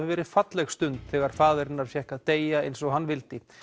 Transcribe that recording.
verið falleg stund þegar faðir hennar fékk að deyja eins og hann vildi